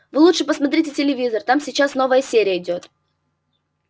вы лучше посмотрите телевизор там сейчас новая серия идёт